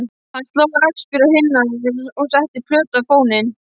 Hann sló rakspíra á kinnarnar og setti plötu á fóninn.